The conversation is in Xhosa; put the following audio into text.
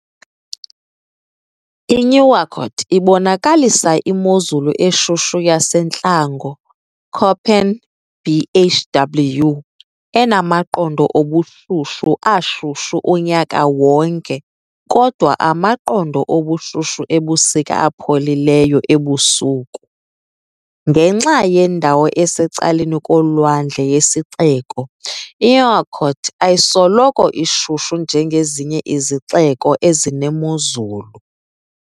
I-Nouakchott ibonakalisa imozulu eshushu yasentlango, Köppen- Bhw, enamaqondo obushushu ashushu unyaka wonke kodwa amaqondo obushushu ebusika apholileyo ebusuku. Ngenxa yendawo esecaleni kolwandle yesixeko, iNouakchott ayisoloko ishushu njengezinye izixeko ezinemozulu.